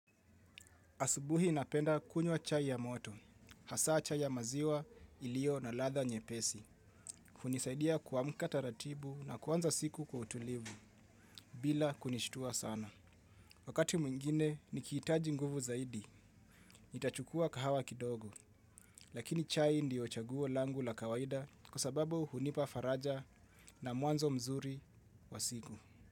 Asubui napenda kunywa chai ya moto hasa chai ya maziwa iliyo na ladha nyepesi. Hunisaidia kuamka taratibu na kuanza siku kwa utulivu bila kunishtua sana. Wakati mwingine nikihitaji nguvu zaidi nitachukua kahawa kidogo. Lakini chai ndio chaguo langu la kawaida kwasababu hunipa faraja na mwanzo mzuri wa siku.